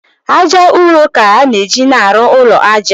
Ájá ụrọ ka a na-eji arụ ụlọ ájá